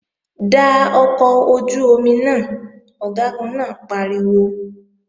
Da ọkọ̀ ojú-omi náà! Ọ̀gágun náà pariwo